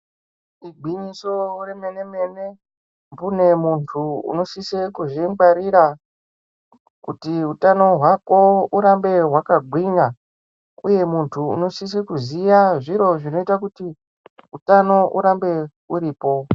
Igwinyiso remenemene mbune munthu unosise kuzvingwarira kuti utano hwako urambe hwakagwinya uye munthu unosisa kuziya zviro zvinoita kuti utano hurambe huripo.